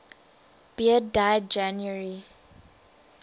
beard died january